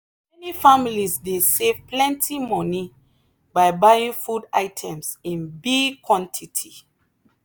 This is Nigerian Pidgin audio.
many families dey save plenty money by buying food items in big quantity.